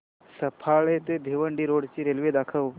सफाळे ते भिवंडी रोड ची रेल्वे दाखव